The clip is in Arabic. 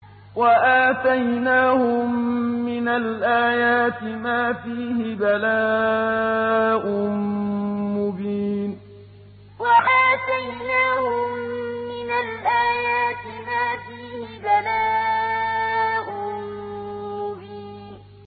وَآتَيْنَاهُم مِّنَ الْآيَاتِ مَا فِيهِ بَلَاءٌ مُّبِينٌ وَآتَيْنَاهُم مِّنَ الْآيَاتِ مَا فِيهِ بَلَاءٌ مُّبِينٌ